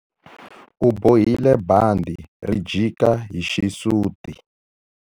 U bohile bandhi ri jika hi xisuti.